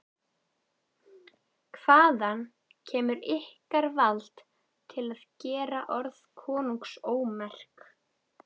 Hvaðan kemur ykkur vald til að gera orð konungs ómerk?